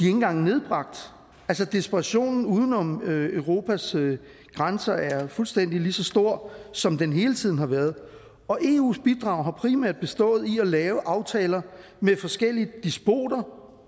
engang nedbragt altså desperationen uden om europas grænser er fuldstændig lige så stor som den hele tiden har været og eus bidrag har primært bestået i at lave aftaler med forskellige despoter